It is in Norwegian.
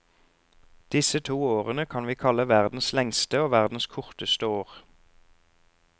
Disse to årene kan vi kalle verdens lengste og verdens korteste år.